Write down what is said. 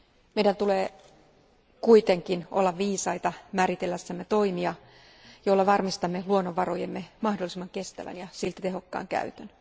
Meidän tulee kuitenkin olla viisaita määritellessämme toimia, joilla varmistamme luonnonvarojemme mahdollisimman kestävän ja silti tehokkaan käytön.